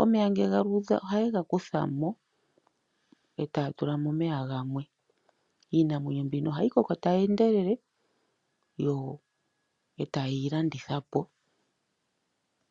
Omeya ngele galuudha oha ye gakuthamo eta tula mo omeya gamwe iinamwenyo mbino ohayi koko tayi endelele yo eta yeyi landitha po.